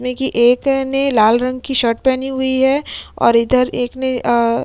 एक ने लाल रंग की शर्ट पहनी हुई है और इधर एक ने अ --